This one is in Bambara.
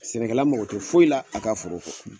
Sɛnɛkɛla mɔgɔ tɛ foyi la a ka foro kɔ!